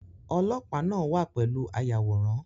Olopaa náà wà pẹ̀lú ayàwòrán